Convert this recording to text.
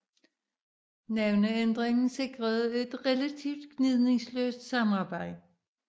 Navneændringen sikrede et relativt gnidningsløst samarbejde